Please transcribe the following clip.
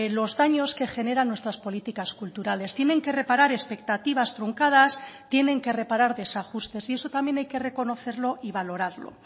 los daños que generan nuestras políticas culturales tienen que reparar expectativas truncadas tienen que reparar desajustes y eso también hay que reconocerlo y valorarlo